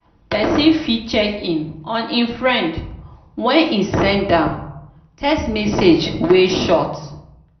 persin fit check in on im friend when e send am text message wey short